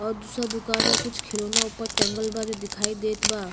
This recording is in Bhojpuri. और दूसर दुकान में कुछ खिलौना ऊपर टाँगल बा जो दिखाई देत बा।